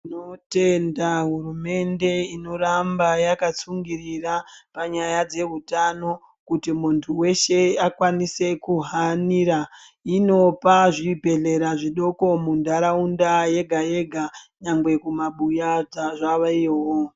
Tinotenda hurumende inoramba yakatsungirira panyaya dzehutano kuti muntu weshe akwanise kuhanira. Inopa zvibhedhlera zvidoko muntaraunda yega yega nyangwe kumabuya zvaveyowo.